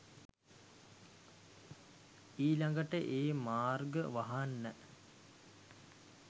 ඊළගට ඒ මාර්ග වහන්න